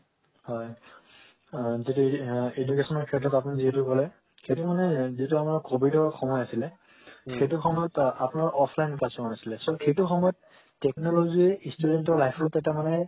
হয় education ৰ ক্ষেত্ৰ আপোনি যেহেতু কলে সেইটো মানে যিতো আমাৰ covid ৰ সময় আছিলে তো সেইটো সময় আপোনাৰা offline customer আছিলে তো হেটো সময় technology student ৰ life ত এটা মানে